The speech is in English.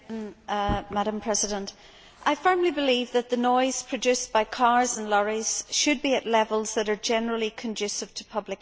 Madam President, I firmly believe that the noise produced by cars and lorries should be at levels that are generally consistent with public health.